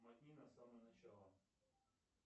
мотни на самое начало